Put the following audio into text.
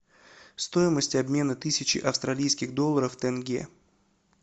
стоимость обмена тысячи австралийских долларов в тенге